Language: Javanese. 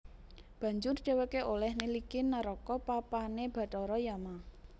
Banjur dhèwèké olèh niliki neraka papané bathara Yama